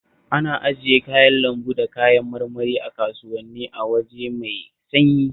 Ana ajiye kayan lambu da kayan marmari a kasuwanni a waje mai sanyi